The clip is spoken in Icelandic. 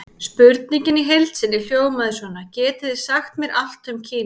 Spurningin í heild sinni hljóðaði svona: Getið þið sagt mér allt um Kína?